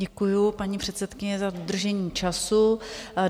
Děkuji, paní předsedkyně, za dodržení času.